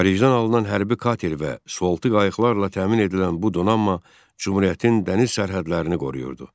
Xaricdən alınan hərbi kater və soltu qayıqlarla təmin edilən bu donanma Cümhuriyyətin dəniz sərhədlərini qoruyurdu.